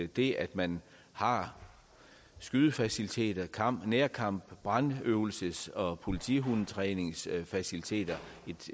det at man har skydefaciliteter nærkamps brandøvelses og politihundetræningsfaciliteter